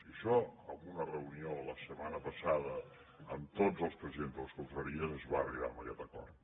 i això en una reunió la setmana passada amb tots els presidents de les confraries es va arribar a aquest acord